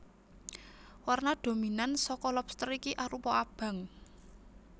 Warna dominan saka lobster iki arupa abang